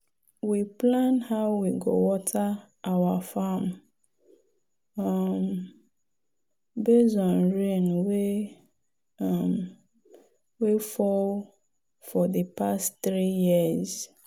we plan how we go water our farm um based on rain wey um fall for di past three years.